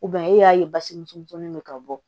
e y'a ye basi misɛnnin bɛ ka bɔ